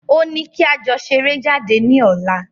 Ó ní kí a jọ ṣeré jáde ní ọ̀la.